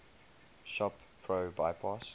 shop pro bypass